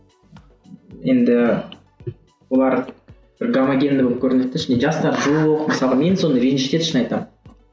енді олар бір гомогенді болып көрінеді де ішінде жастар жоқ мысалы мен соны ренжітеді шын айтамын